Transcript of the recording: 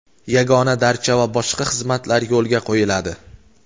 "yagona darcha" va boshqa xizmatlar yo‘lga qo‘yiladi;.